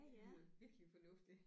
Det lyder virkelig fornuftigt